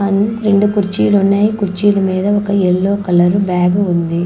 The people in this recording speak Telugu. రెండు కుర్చీలు ఉన్నయి కుర్చీల మీద ఒక యెల్లో కలరు బ్యాగు ఉంది.